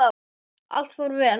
Allt fór vel.